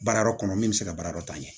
Baara yɔrɔ kɔnɔ min bɛ se ka baara dɔ ta ɲɛ